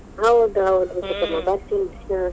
ಹೌದ್ ಹೌದ್ ಚಿಕ್ಕಮ್ಮ ಬರ್ತಿನ್.